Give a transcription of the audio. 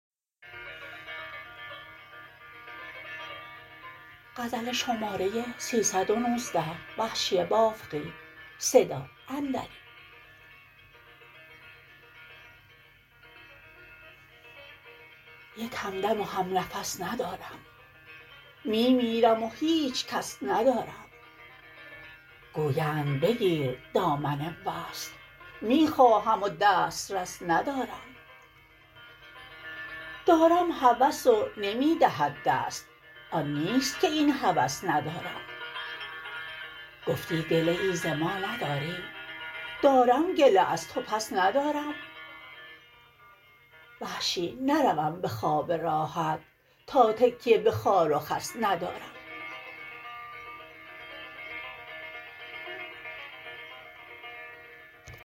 یک همدم و همنفس ندارم می میرم و هیچ کس ندارم گویند بگیر دامن وصل می خواهم و دسترس ندارم دارم هوس و نمی دهد دست آن نیست که این هوس ندارم گفتی گله ای ز ما نداری دارم گله از تو پس ندارم وحشی نروم به خواب راحت تا تکیه به خار و خس ندارم